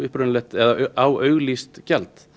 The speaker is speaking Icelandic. á auglýst gjald